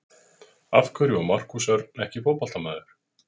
Af hverju var Markús Örn ekki fótboltamaður?